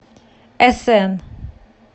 э сэн